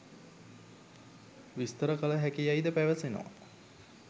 විස්තර කළ හැකි යැයි ද පැවසෙනවා.